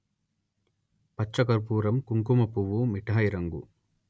పచ్చ కర్పూరంకుంకుమ పువ్వుమిఠాయి రంగు